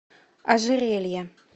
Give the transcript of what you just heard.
ожерелье